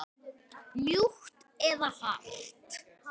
Ég elska þig líka.